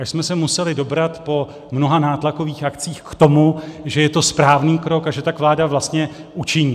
Až jsme se museli dobrat po mnoha nátlakových akcích k tomu, že je to správný krok a že tak vláda vlastně učiní.